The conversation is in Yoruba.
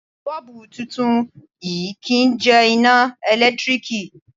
Bọ́ọ̀bú titun yìí kì í jẹ iná ẹ̀lẹ́tíríkì.